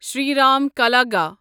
Shriram کلاگا